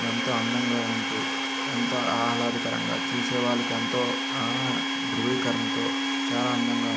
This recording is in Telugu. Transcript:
ఎంతో అందంగావుంటూ ఎంతో ఆహ్లాదకరంగా చూసేవాళ్ళకి ఎంతో ఆ ద్రువీకరణతో చాల అందంగా --